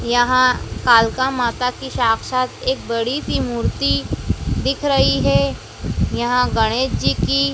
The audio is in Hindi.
यहां कालका माता की साक्षात एक बड़ी सी मूर्ति दिख रही है। यहां गणेश जी की--